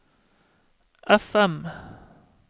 FM